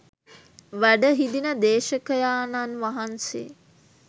වැඩ හිඳින දේශකයාණන් වහන්සේ